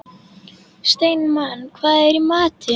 Steinmann, hvað er í matinn?